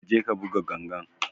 Ƙa je ka buga ganga!